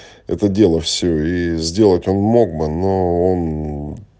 это дело все и сделать он мог бы но он